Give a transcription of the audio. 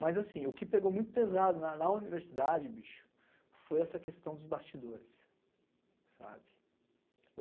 Mas assim o que pegou muito pesado na na universidade, bicho, foi essa questão dos bastidores, sabe?